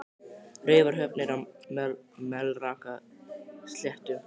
Raufarhöfn er á Melrakkasléttu.